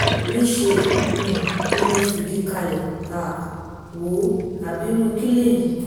níṣẹ́ um ni mo fìdí kalẹ̀ um wòó abirù kí lèyí